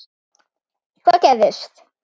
Hvað gerðist?